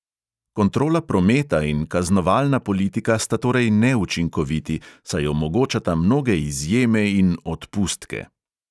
Kontrola prometa in kaznovalna politika sta torej neučinkoviti, saj omogočata mnoge izjeme in "odpustke".